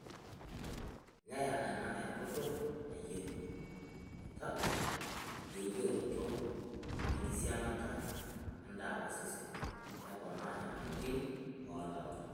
Neya ena enkutuk natoyio, naitagol eijoroto wenkisiagata enda oosesn neponaa nyamaliritn oolala.